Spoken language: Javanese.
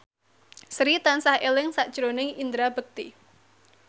Sri tansah eling sakjroning Indra Bekti